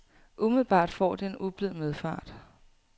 Umiddelbart får det en ublid medfart.